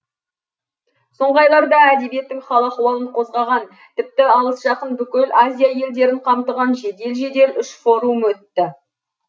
соңғы айларда әдебиеттің хал ахуалын қозғаған тіпті алыс жақын бүкіл азия елдерін қамтыған жедел жедел үш форум өтті